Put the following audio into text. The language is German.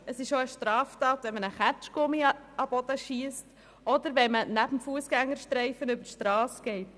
Es ist auch eine Straftat, wenn man einen Kaugummi auf den Boden wirft oder neben dem Fussgängerstreifen die Strasse überquert.